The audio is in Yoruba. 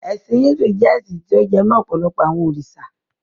Ẹ̀sin Híndù jẹ́ ẹ́sin ti ó jẹ mó ọ̀pọ̀lọpọ àwọn òrìṣà.